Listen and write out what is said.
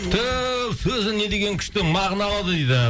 түф сөзі не деген күшті мағыналы дейді